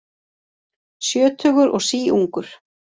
Sjötugur og síungur